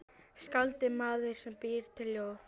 Skáld er maður sem býr til ljóð.